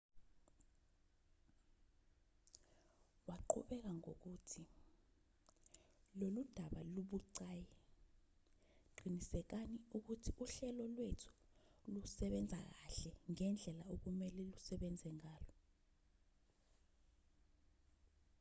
waqhubeka ngokuthi lolu daba lubucayi qinisekani ukuthi uhlelo lwethu lusebenza kahle ngendlela okumelwe lusebenze ngayo